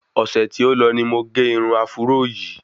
Ọ̀sẹ̀ tí o lọ ni mo ge irun áfúró yìí